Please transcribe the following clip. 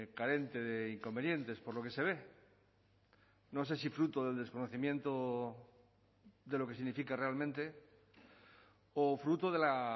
carente de inconvenientes por lo que se ve no sé si fruto del desconocimiento de lo que significa realmente o fruto de la